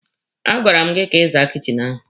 A gwara m gị ka ị zaa kichin ahụ!